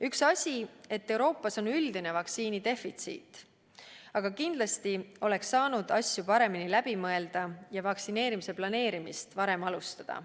Üks asi on, et Euroopas on üldine vaktsiinidefitsiit, aga kindlasti oleks saanud asju paremini läbi mõelda ja vaktsineerimise planeerimist varem alustada.